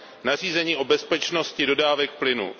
nařízení o bezpečnosti dodávek plynu.